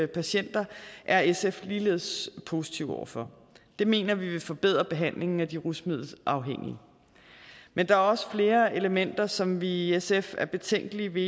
patienter er sf ligeledes positive over for det mener vi vil forbedre behandlingen af de rusmiddelafhængige men der er også flere elementer som vi i sf er betænkelige ved